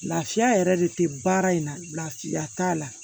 Lafiya yɛrɛ de tɛ baara in na lafiya t'a la